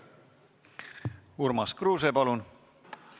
Urmas Kruuse, palun!